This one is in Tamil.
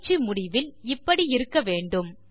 பயிற்சியின் வெளிப்பாடு இப்படி இருக்க வேண்டும்